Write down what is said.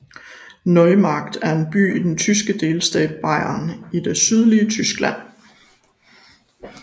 Neumarkt er en by i den tyske delstat Bayern i det sydlige Tyskland